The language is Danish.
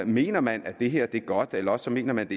mener man at det her er godt eller også mener man